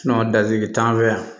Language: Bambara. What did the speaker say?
dadigi t'an fɛ yan